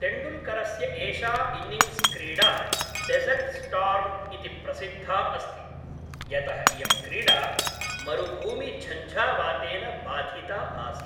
तेण्डुल्करस्य एषा इन्निङ्ग्स्क्रीडा डेसर्ट्स्टार्म् इति प्रसिद्धा अस्ति, यतः इयं क्रीडा मरुभूमिझञ्झावातेन बाधिता आसीत्।